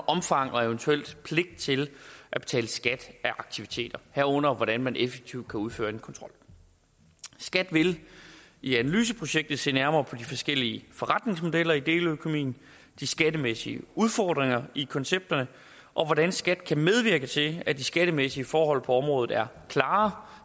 omfang og eventuel pligt til at betale skat af aktiviteter herunder hvordan man effektivt kan udføre kontrol skat vil i analyseprojektet se nærmere på de forskellige forretningsmodeller i deleøkonomien de skattemæssige udfordringer i koncepterne og hvordan skat kan medvirke til at de skattemæssige forhold på området er